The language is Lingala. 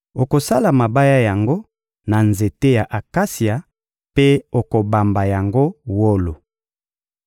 Okosala mabaya yango na nzete ya akasia mpe okobamba yango wolo.